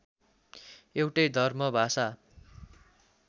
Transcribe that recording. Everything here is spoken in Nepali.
एउटै धर्म भाषा